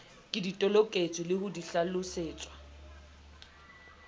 ke toloketswe le ho hlalosetswa